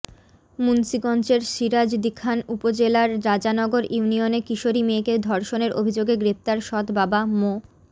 মুন্সীগঞ্জের সিরাজদিখান উপজেলার রাজানগর ইউনিয়নে কিশোরী মেয়েকে ধর্ষণের অভিযোগে গ্রেপ্তার সৎ বাবা মো